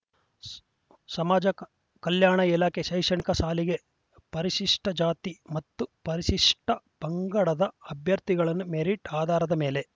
ಸಮಾಜ ಕಲ್ಯಾಣ ಇಲಾಖೆ ಶೈಕ್ಷಣಿಕ ಸಾಲಿಗೆ ಪರಿಶಿಷ್ಟಜಾತಿ ಮತ್ತು ಪರಿಶಿಷ್ಟಪಂಗಡದ ಅಭ್ಯರ್ಥಿಗಳನ್ನು ಮೆರಿಟ್‌ ಆಧಾರದ ಮೇಲೆ